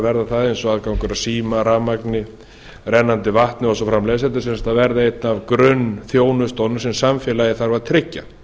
verða það eins og aðgangur að síma rafmagni rennandi vatni og svo framvegis þetta er sem sagt að verða eitt af grunnþjónustunni sem samfélagið þarf á tryggja